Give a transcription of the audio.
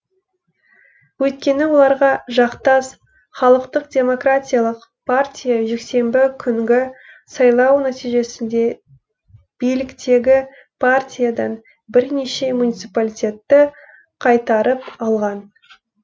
өйткені оларға жақтас халықтық демократиялық партия жексенбі күнгі сайлау нәтижесінде биліктегі партиядан бірнеше муниципиалитетті қайтарып алған